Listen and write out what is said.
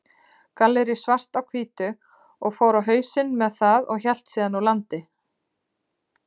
Gallerí Svart á Hvítu, og fór á hausinn með það og hélt síðan úr landi.